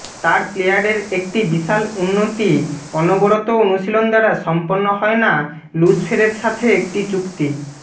তার প্লেয়ারের একটি বিশাল উন্নতি অনবরত অনুশীলন দ্বারা সম্পন্ন হয় না লুসফেরের সাথে একটি চুক্তি